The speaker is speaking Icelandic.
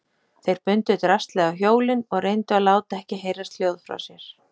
Þeir bundu draslið á hjólin og reyndu að láta ekki heyrast hljóð frá sér.